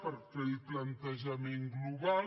per fer el plantejament global